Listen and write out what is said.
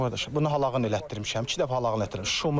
Bunu haqlan elətdirmişəm, iki dəfə haqlan elətdirir.